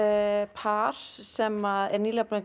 par sem er nýlega búið